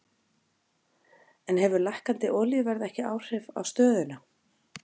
En hefur lækkandi olíuverð ekki áhrif á stöðuna?